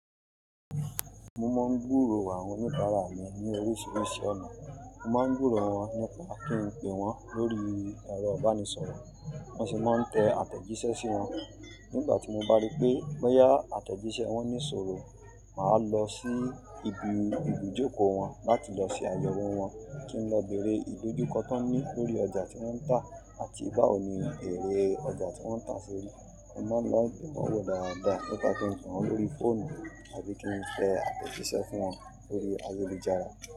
Mo máa ń búró àwọn oníbàárà mi ní oríṣiríṣi ọ̀nà. Mo máa ń búró wọn nípa kí n pe wọ́n lórí ẹ̀rọ ìbánisọ̀rọ̀ wọ́n sì máa ń tẹ àtẹ̀jíṣẹ́ sí wọn. Nígbà tí mo bá rí pé bó yá àtẹ̀jíṣẹ́ wọn ní ìṣòro, mà á lọ sí ibi ibùjókòó wọn láti lọ ṣe àyẹ̀wò wọn kí n lọ bèèrè ìlójúkọ tí wọ́n ní lórí ọjà tí wọ́n ń tà àti báwo ni èrè ọjà tí wọ́n ń tà ṣe rí. Mo máa ń lọ gbe wọn wò dáadáa nípa kí n pe wọ́n lórí fóònù àbí kí n fe àtẹ̀jíṣẹ́ fún wọn lórí ayélujàrà.